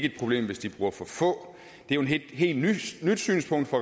et problem hvis de bruger for få det er jo et helt nyt synspunkt fra